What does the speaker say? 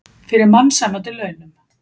Fyrir mannsæmandi launum.